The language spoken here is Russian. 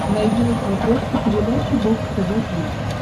найди на смотрешке передачу бокс тв плюс